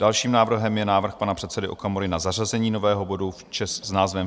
Dalším návrhem je návrh pana předsedy Okamury na zařazení nového bodu s názvem